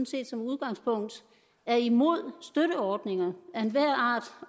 set som udgangspunkt er imod støtteordninger